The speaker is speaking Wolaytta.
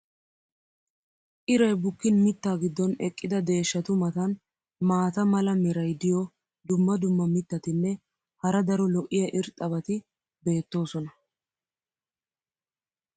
iray bukkin mitaa giddon eqqida deeshshatu matan matan maata mala meray diyo dumma dumma mitatinne hara daro lo'iya irxxabati beetoosona.